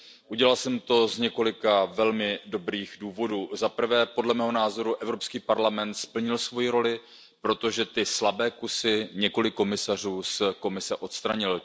Udělal jsem to z několika velmi dobrých důvodů. Zaprvé, podle mého názoru, Evropský parlament splnil svou roli, protože ty slabé kusy několik komisařů z Komise odstranil.